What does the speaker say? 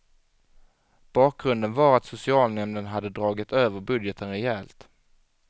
Bakgrunden var att socialnämnden hade dragit över budgeten rejält.